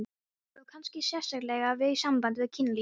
Það á kannski sérstaklega við í sambandi við kynlífið.